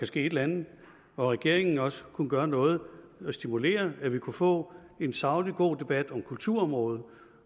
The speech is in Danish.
ske et eller andet og at regeringen også vil kunne gøre noget stimulere så vi kunne få en saglig god debat om kulturområdet